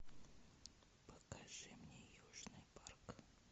покажи мне южный парк